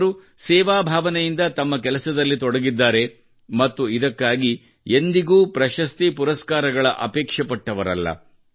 ಅವರು ಸೇವಾಭಾವನೆಯಿಂದ ತಮ್ಮ ಕೆಲಸದಲ್ಲಿ ತೊಡಗಿದ್ದರು ಮತ್ತು ಇದಕ್ಕಾಗಿ ಎಂದಿಗೂ ಪ್ರಶಸ್ತಿ ಪುರಸ್ಕಾರಗಳ ಅಪೇಕ್ಷೆಪಟ್ಟವರಲ್ಲ